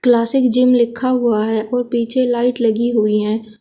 Classic gym लिखा हुआ है और पीछे लाइट लगी हुई है।